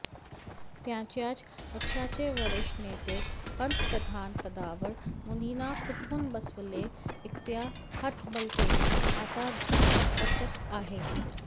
त्यांच्याच पक्षाचे वरिष्ठ नेते पंतप्रधान पदावर मोदींना कुठून बसवले इतक्या हतबलतेने आता घुसमटत आहेत